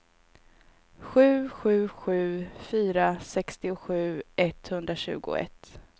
sju sju sju fyra sextiosju etthundratjugoett